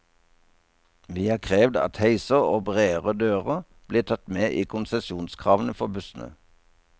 Vi har krevd at heiser og bredere dører blir tatt med i konsesjonskravene for bussene.